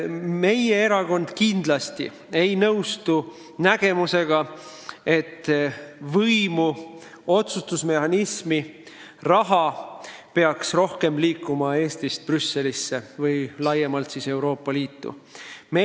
Meie erakond kindlasti ei nõustu arusaamaga, et võimu, otsustusõigust ja raha peaks Eestist Brüsselisse või laiemalt Euroopa Liitu rohkem liikuma.